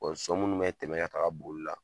so munnu bɛ tɛmɛ ka taa boli yɔrɔ la.